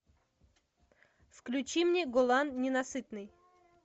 включи мне голан ненасытный